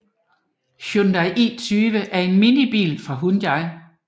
Hyundai i20 er en minibil fra Hyundai